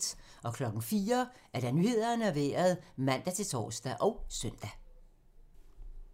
04:00: Nyhederne og Vejret (man-tor og søn)